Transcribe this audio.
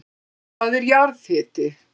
Hvað er jarðhiti?